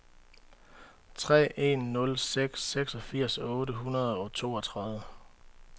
tre en nul seks seksogfirs otte hundrede og toogtredive